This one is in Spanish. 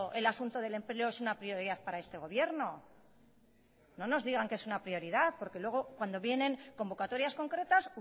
el asunto del empleo es una prioridad para este gobierno no nos digan que es una prioridad porque luego cuando vienen convocatorias concretas